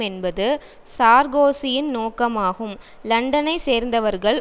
என்பது சார்கோசியின் நோக்கமாகும் லண்டனை சேர்ந்தவர்கள்